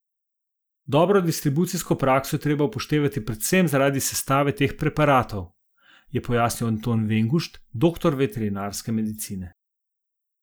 Dobro distribucijsko prakso je treba upoštevati predvsem zaradi sestave teh preparatov, je pojasnil Anton Vengušt, doktor veterinarske medicine.